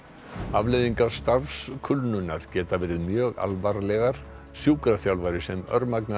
afleiðingar geta verið mjög alvarlegar sjúkraþjálfari sem